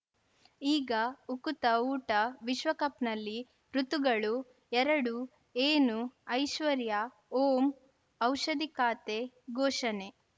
ಈಗ ಉಕುತ ಊಟ ವಿಶ್ವಕಪ್‌ನಲ್ಲಿ ಋತುಗಳು ಎರಡು ಏನು ಐಶ್ವರ್ಯಾ ಓಂ ಔಷಧಿ ಖಾತೆ ಘೋಷಣೆ